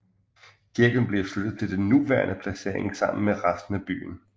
Kirken blev flyttet til den nuværende placering sammen med resten af byen